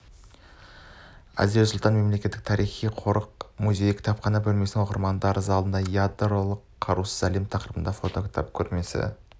әзірет сұлтан мемлекеттік тарихи-мәдени қорық-музейі кітапхана бөлмесінің оқырмандар залында ядролық қарусыз әлем тақырыбында фото кітап көрмесі